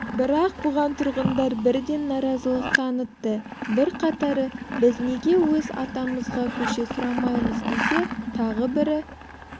бірақ бұған тұрғындар бірден наразылық танытты бірқатары біз неге өз атамызға көше сұрамаймыз десе тағы бірі